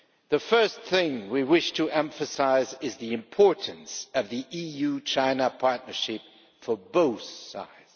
The first thing we wish to emphasise is the importance of the EU China Partnership for both sides.